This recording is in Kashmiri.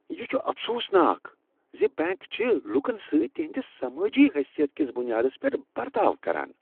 یہ چھ افسوس ناک ز بینک چھ لوکن سۭتۍ تہنٛدِس سمٲجی حیثیت کس بنیادس پیٹھ برتاؤ کران۔